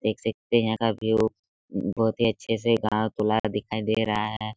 देख सकते है यहाँ का व्यू बहुत ही अच्छे से गांव दिखाई दे रहा है।